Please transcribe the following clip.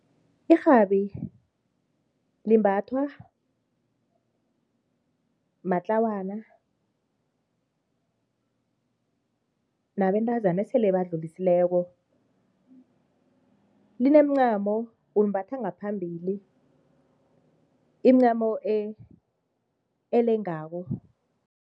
Irhabi limbathwa matlawana nabentazana esele badlulisileko, limencamo ulimbatha ngaphambili, imincamo elengako.